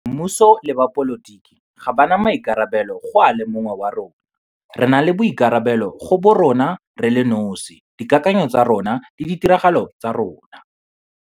Mmuso le bapolitiki ga ba na boikarabelo go a le mongwe wa rona - re na le boikarabelo go borona re le nosi, dikakanyo tsa rona le ditiragalo tsa rona.